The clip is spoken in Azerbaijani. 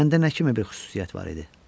Məndə nə kimi bir xüsusiyyət var idi?